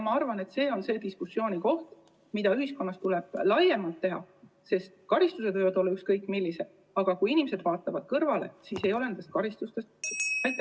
Ma arvan, et see on diskussioon, mida ühiskonnas tuleb laiemalt pidada, sest karistused võivad olla ükskõik millised, aga kui inimesed vaatavad kõrvale, siis ei ole nendest karistustest kasu.